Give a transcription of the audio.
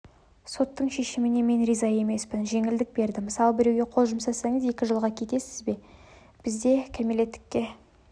соттың шешіміне мен риза емеспін жеңілдік берді мысалы біреуге қол жұмсасаңыз екі жылға кетесіз бізде кәмілеттіке